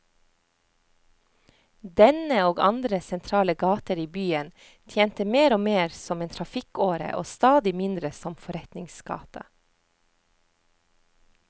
Denne, og andre sentrale gater i byen, tjente mer og mer som en trafikkåre og stadig mindre som forretningsgate.